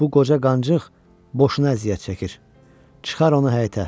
Bu qoca qancığ boşuna əziyyət çəkir, çıxar onu həyətə.